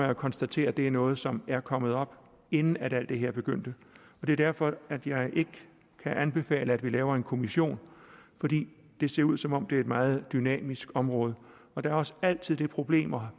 jo konstatere at det er noget som er kommet op inden alt det her begyndte det er derfor at jeg ikke kan anbefale at vi laver en kommission fordi det ser ud som om det er et meget dynamisk område og der også altid er problemer